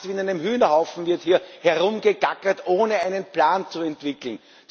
Fast wie in einem Hühnerhaufen wird hier herumgegackert, ohne einen Plan zu entwickeln.